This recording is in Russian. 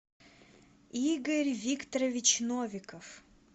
игорь викторович новиков